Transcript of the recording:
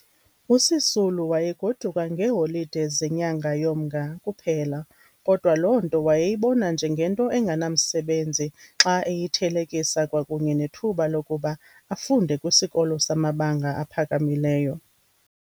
USisulu wayegoduka ngeeholide zenyanga yoMnga kuphela kodwa loo nto wayeyibona njengento enganamsebenzi xa eyithelekisa kwakunye nethuba lokuba afunde kwisikolo samabanga aphakamileyo.